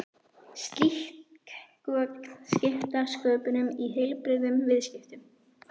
Slík gögn skipta sköpum í heilbrigðum viðskiptum.